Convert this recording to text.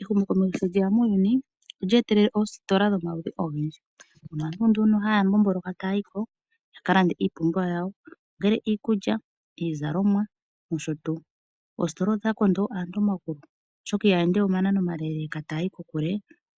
Ehumokomeho sho lyeya muuyuni olye etelela oositola dhomaludhi ogendji moka ihe aantu haa mbmbolokele taa yimo ya kalaande iinima yawo okutya iikulya nenge iizalomwa .Oositola odha konda aantu omagulu ano aantu itaa ende we ominano omilemile